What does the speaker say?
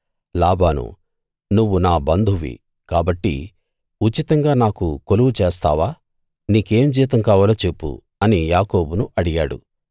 లాబాను నువ్వు నా బంధువ్వి కాబట్టి ఉచితంగా నాకు కొలువు చేస్తావా నీకేం జీతం కావాలో చెప్పు అని యాకోబును అడిగాడు